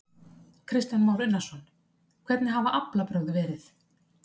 Kristján Már Unnarsson: Hvernig hafa aflabrögð verið?